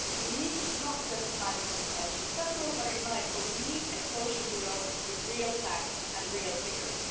We need not just nice intentions that's all very nice, but we need a social Europe with real facts and real figures.